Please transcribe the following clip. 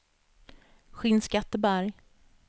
Skinnskatteberg